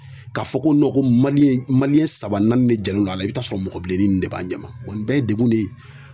Ka fɔ ko nɔn maliyɛn maliyɛn saba naani de jɛlen don a la i be t'a sɔrɔ mɔgɔ bileni nunnu de b'an ɲɛma wa nin ye degun de ye